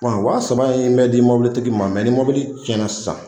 wa saba in bɛ di mɔbili tigi ma ni mɔbili cɛnna sisan